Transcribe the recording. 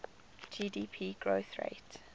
gdp growth rate